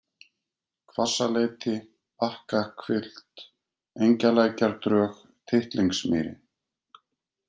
Hvassaleiti, Bakkahvilft, Engjalækjardrög, Tittlingsmýri